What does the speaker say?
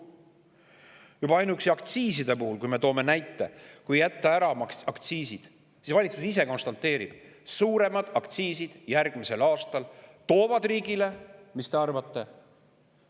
Toon näite: ehk jätta ära ka aktsiiside, sest ainuüksi aktsiiside puhul valitsus ise konstateerib, et suuremad aktsiisid järgmisel aastal ei too riigile – mis te arvate?